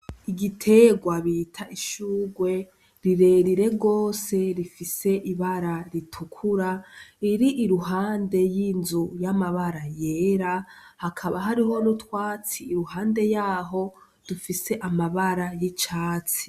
Igiterwa bita ishurwe rirerire gose rifise ibara ritukura riri iruhande y'inzu y'amabara yera hakaba hariho n'utwatsi iruhande yaho dufise amabara y'icatsi.